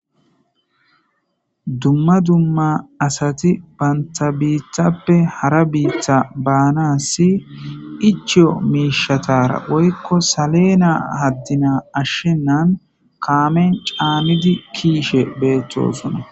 Dumma dumma asati banta biithappe hara biitha baana si ichiyo miishatara woykko salena haddina ashshennan kaamen caamidi kiishe beettosuna.